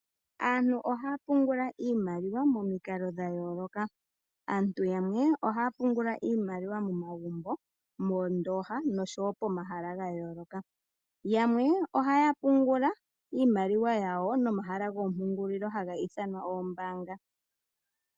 Aantu ohaya pungula iimaliwa momikalo dhayooloka. Aantu yamwe ohaya pungula iimaliwa momagumbo, moondoha, noshowo pomahala gayooloka. Yamwe ohaya pungula momahala gomapungulilo hagi ithanwa oombaanga.